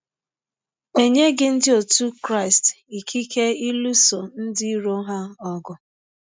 E nyeghị Ndị otụ Krịstị ikike ịlụso ndị iro ha ọgụ.